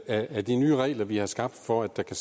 af de nye regler vi har skabt for at der kan